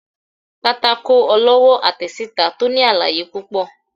pàtàkó olowo àtesitá to ní àlàyé pupọ